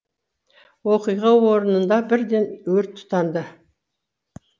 оқиға орнында бірден өрт тұтанды